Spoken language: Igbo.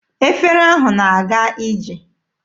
Efere ahụ na-aga ije.